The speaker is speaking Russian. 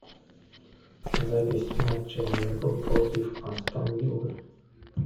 запись матча ливерпуль против астон виллы